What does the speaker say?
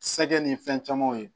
Sɛgɛn ni fɛn camanw ye